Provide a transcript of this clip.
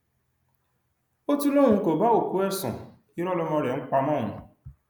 ó tún lóun kó bá òkú ẹ sun irọ lọmọ rẹ ń pa mọ òun